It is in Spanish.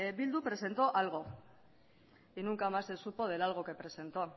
bildu presentó algo y nunca más se supo del algo que presentó